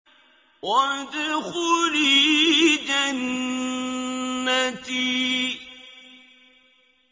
وَادْخُلِي جَنَّتِي